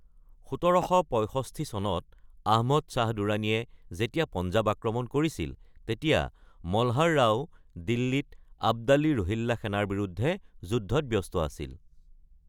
১৭৬৫ চনত আহমদ শ্বাহ দুৰাণীয়ে যেতিয়া পঞ্জাৱ আক্ৰমণ কৰিছিল, তেতিয়া মলহাৰ ৰাও দিল্লীত আব্দালি-ৰোহিল্লা সেনাৰ বিৰুদ্ধে যুদ্ধত ব্যস্ত আছিল।